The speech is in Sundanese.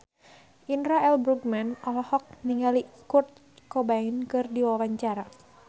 Indra L. Bruggman olohok ningali Kurt Cobain keur diwawancara